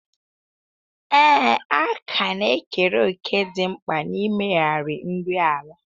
Ee, àkà na-ekere òkè dị mkpa n'ịmegharị nri ala.